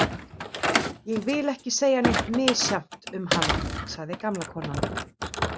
Ég vil ekki segja neitt misjafnt um hana, sagði gamla konan.